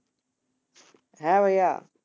হ্যাঁ ভাইয়া